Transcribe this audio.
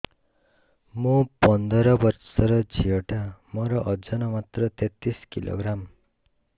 ମୁ ପନ୍ଦର ବର୍ଷ ର ଝିଅ ଟା ମୋର ଓଜନ ମାତ୍ର ତେତିଶ କିଲୋଗ୍ରାମ